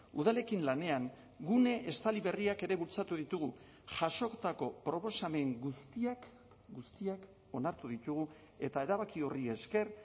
udalekin lanean gune estali berriak ere bultzatu ditugu jasotako proposamen guztiak guztiak onartu ditugu eta erabaki horri esker